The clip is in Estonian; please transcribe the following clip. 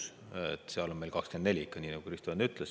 Seal on meil ikka 24, nii nagu Kristo Enn ütles.